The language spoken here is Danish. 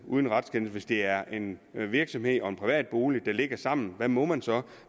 uden retskendelse hvis det er en virksomhed og en privat bolig der ligger sammen hvad må man så